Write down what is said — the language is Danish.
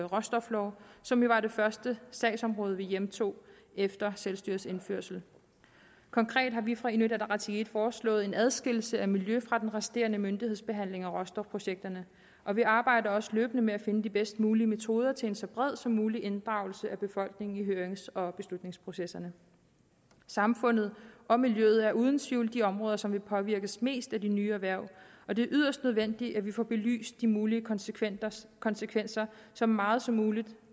råstoflov som jo var det første sagsområde vi hjemtog efter selvstyrets indførsel konkret har vi fra inuit ataqatigiit foreslået en adskillelse af miljø fra den resterende myndighedsbehandling af råstofprojekterne og vi arbejder også løbende med at finde de bedst mulige metoder til en så bred som mulig inddragelse af befolkningen i hørings og beslutningsprocesserne samfundet og miljøet er uden tvivl de områder som vil påvirkes mest af de nye erhverv og det er yderst nødvendigt at vi får belyst de mulige konsekvenser konsekvenser så meget som muligt